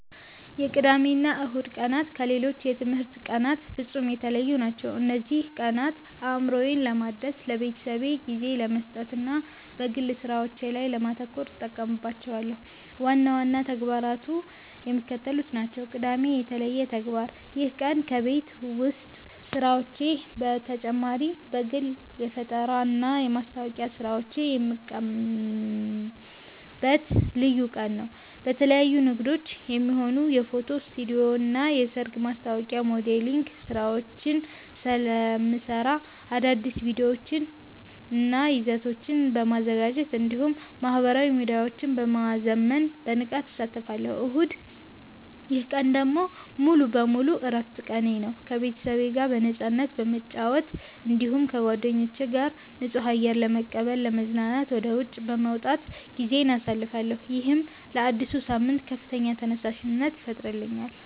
የቅዳሜና እሁድ ቀናት ከሌሎች የትምህርት ቀናት ፍጹም የተለዩ ናቸው። እነዚህን ቀናት አእምሮዬን ለማደስ፣ ለቤተሰቤ ጊዜ ለመስጠትና በግል ሥራዎቼ ላይ ለማተኮር እጠቀምባቸዋለሁ። ዋና ዋና ተግባራቱ የሚከተሉት ናቸው፦ ቅዳሜ (የተለየ ተግባር)፦ ይህ ቀን ከቤት ውስጥ ሥራዎች በተጨማሪ ለግል የፈጠራና የማስታወቂያ ሥራዎቼ የምጠቀምበት ልዩ ቀን ነው። ለተለያዩ ንግዶች የሚሆኑ የፎቶ ስቱዲዮና የሰርግ ማስታወቂያ ሞዴሊንግ ሥራዎችን ስለምሠራ፣ አዳዲስ ቪዲዮዎችንና ይዘቶችን በማዘጋጀት እንዲሁም ማኅበራዊ ሚዲያዎቼን በማዘመን በንቃት አሳልፋለሁ። እሁድ፦ ይህ ቀን ደግሞ ሙሉ በሙሉ የዕረፍት ቀኔ ነው። ከቤተሰቤ ጋር በነፃነት በመጨዋወት፣ እንዲሁም ከጓደኞቼ ጋር ንጹህ አየር ለመቀበልና ለመዝናናት ወደ ውጪ በመውጣት ጊዜዬን አሳልፋለሁ። ይህም ለአዲሱ ሳምንት ከፍተኛ ተነሳሽነት ይፈጥርልኛል።